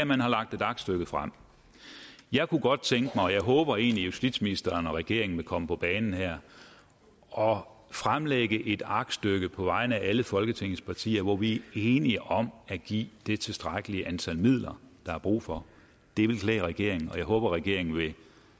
man har lagt et aktstykke frem jeg kunne godt tænke mig og håber egentlig at justitsministeren og regeringen vil komme på banen her og fremlægge et aktstykke på vegne af alle folketingets partier hvor vi er enige om at give de tilstrækkelige midler der er brug for det ville klæde regeringen og jeg håber regeringen